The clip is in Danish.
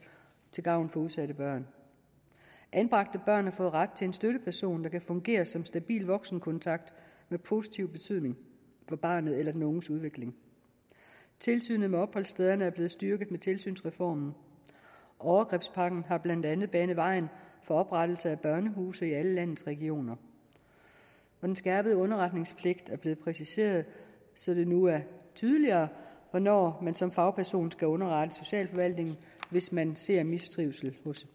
til gavn for udsatte børn anbragte børn har fået ret til en støtteperson der kan fungere som stabil voksenkontakt med positiv betydning for barnets eller den unges udvikling tilsynet med opholdsstederne er blevet styrket med tilsynsreformen overgrebspakken har blandt andet banet vejen for oprettelse af børnehuse i alle landets regioner den skærpede underretningspligt er blevet præciseret så det nu er tydeligere hvornår man som fagperson skal underrette socialforvaltningen hvis man ser mistrivsel hos